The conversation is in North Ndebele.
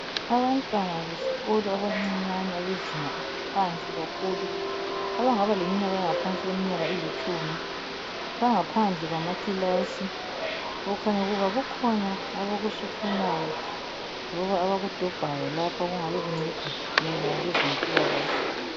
Abantwana besikolo abancinyane bezinga eliphansi kakhulu abangaba leminyaka engaphansi kweminyaka elitshumi bangaphandle kwamaKilasi okukhanya ukuba kukhona abakusuphunayo loba abakudobhayo lapho okungabe kunceda mayelana lezempilakahle.